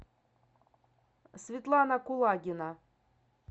светлана кулагина